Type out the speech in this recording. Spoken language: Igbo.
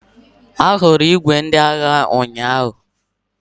Ahụrụ ìgwè ndị agha ụnyaahụ.